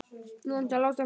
Nú vantar Lása flösku.